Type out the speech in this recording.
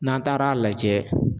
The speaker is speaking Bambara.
N'an taara lajɛ